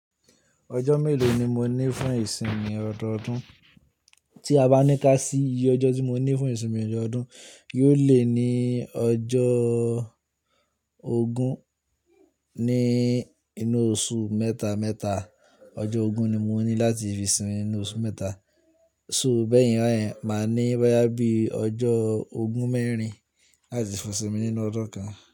Ọjọ́ mélòó ni mo ní fún ìsinmi ọdọọdún? Tí a bá ní ká sí iye ọjọ́ tí mo ní fún ìsinmi ọdọọdún, yóò le ní ọjọ́ ogún ní inú oṣù mẹ́ta mẹ́ta. Ọjọ́ ogún ni mo ní láti fi sinmi nínú oṣù mẹ́ta, ṣú bẹ́ẹ̀ yín rẹ̀, máa ní boyà bíi ọjọ́ ogún mẹ́rin láti fi sinmi nínú ọdún kan.